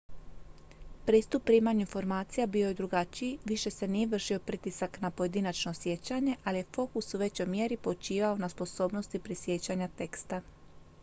pristup primanju informacija bio je drugačiji više se nije vršio pritisak na pojedinačno sjećanje ali je fokus u većoj mjeri počivao na sposobnosti prisjećanja teksta